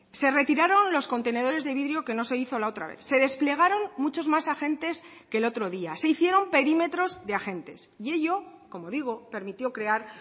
se retiraron los contenedores de vidrio que no se hizo la otra vez se desplegaron muchos más agentes que el otro día se hicieron perímetros de agentes y ello como digo permitió crear